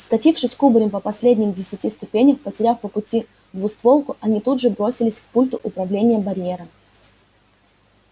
скатившись кубарем по последним десяти ступеням потеряв по пути двустволку они тут же бросились к пульту управления барьера